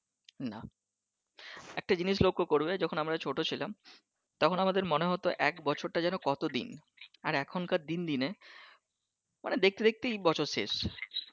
না একটা জিনিস লক্ষ করবে যখন আমরা ছোট ছিলাম তখন আমাদের মনে হতো এক বছরটা যেনো কতো দিন আর এখনকার দিন দিনে মানে দেখতে দেখতেই বছর শেষ।